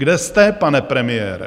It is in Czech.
Kde jste, pane premiére?